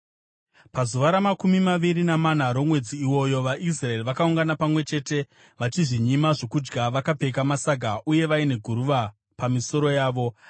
Pazuva ramakumi maviri namana romwedzi iwoyo, vaIsraeri vakaungana pamwe chete, vachizvinyima zvokudya vakapfeka masaga uye vaine guruva pamisoro yavo.